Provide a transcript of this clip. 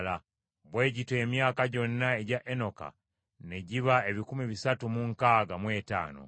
Bwe gityo emyaka gyonna egya Enoka ne giba ebikumi bisatu mu nkaaga mu etaano.